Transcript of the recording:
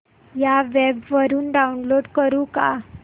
या वेब वरुन डाऊनलोड करू का